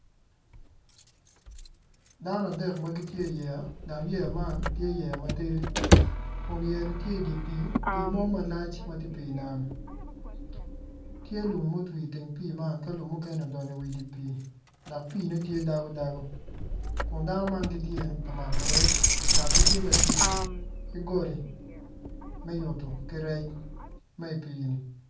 Dano adek ma gitye iyeya dok yeya man tye yeya matidi kun yeyani tye idi pii mo malac ma tye idi nam tye lum modo iteng pii man dok lum mukene odonyo idi dok piine tye dago dago kun dano man tye ka mako rec dok gitye ka tic ki goli me yuto ki rec ma idi pii.